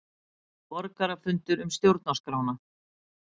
Borgarafundur um stjórnarskrána